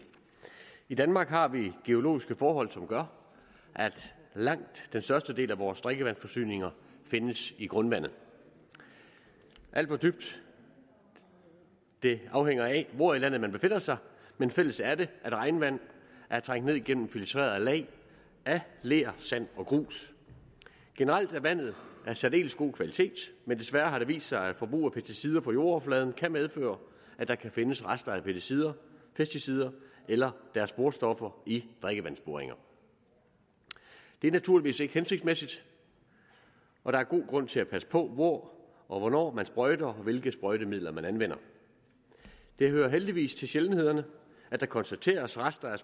i danmark har vi geologiske forhold som gør at langt den største del af vores drikkevandsforsyning findes i grundvandet hvor dybt det er afhænger af hvor i landet man befinder sig men fælles er det at regnvand er trængt ned igennem og filtreret af lag af ler sand og grus generelt er vandet af særdeles god kvalitet men desværre har det vist sig at forbrug af pesticider på jordoverfladen kan medføre at der kan findes rester af pesticider pesticider eller deres sporstoffer i drikkevandsboringer det er naturligvis ikke hensigtsmæssigt og der er god grund til at passe på hvor og hvornår man sprøjter og hvilke sprøjtemidler man anvender det hører heldigvis til sjældenhederne at der konstateres rester af